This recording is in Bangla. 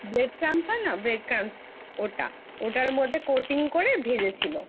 Bread Crumbs হয় না Bread Crumbs ওটা ওটার মধ্যে Coating করে ভেজেছিল।